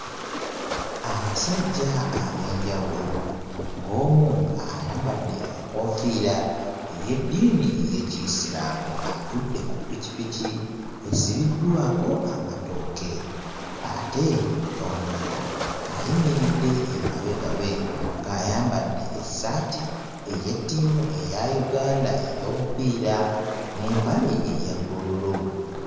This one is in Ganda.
Abasajja ab'enjawulo ng'omu ayambadde enkoofiira ey'eddiini ey'Ekiyisiraamu atudde ku ppikipiki esibiddwako amatooke, ate omulala ayimiridde emabega we ng'ayambadde essaati ey'ettiimu eya Uganda ey'omupiira n'empale eya bbululu.